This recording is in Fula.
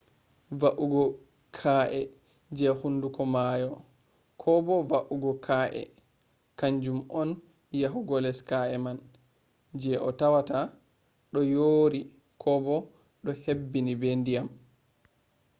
va’ugo ka’e je hunduko maayo ko bo va’ugo ka’e kanjum on yahugo les ka’e man je a tawata do yori ko bo do hebbini be dyam